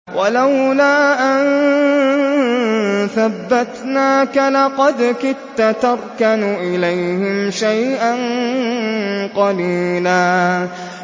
وَلَوْلَا أَن ثَبَّتْنَاكَ لَقَدْ كِدتَّ تَرْكَنُ إِلَيْهِمْ شَيْئًا قَلِيلًا